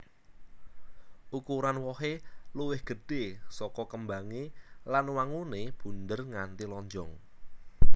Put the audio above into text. Ukuran wohé luwih gedhé saka kembangé lan wanguné bunder nganti lonjong